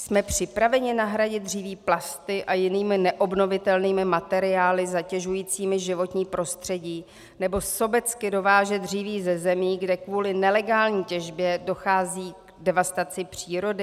Jsme připraveni nahradit dříví plasty a jinými neobnovitelnými materiály zatěžujícími životní prostředí nebo sobecky dovážet dříví ze zemí, kde kvůli nelegální těžbě dochází k devastaci přírody?